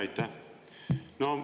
Aitäh!